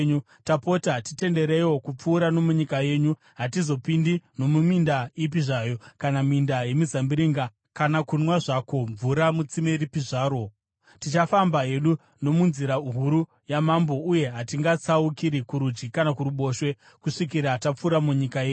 Tapota titendereiwo kupfuura nomunyika yenyu. Hatizopindi nomuminda ipi zvayo kana minda yemizambiringa kana kunwa zvako mvura mutsime ripi zvaro. Tichafamba hedu nomunzira huru yamambo uye hatingatsaukiri kurudyi kana kuruboshwe kusvikira tapfuura nomunyika yenyu.”